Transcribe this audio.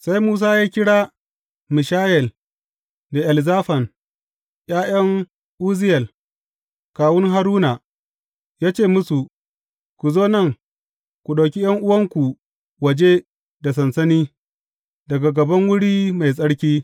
Sai Musa ya kira Mishayel da Elzafan, ’ya’yan Uzziyel kawun Haruna, ya ce musu, Ku zo nan; ku ɗauki ’yan’uwanku waje da sansani, daga gaban wuri mai tsarki.